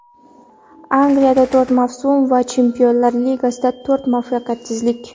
Angliyada to‘rt mavsum va Chempionlar Ligasidagi to‘rt muvaffaqiyatsizlik.